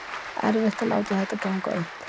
Erfitt að láta þetta ganga upp